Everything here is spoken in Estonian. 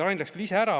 Rain läks küll ise ära.